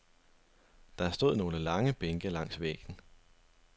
Der stod nogle lange bænke langs væggen.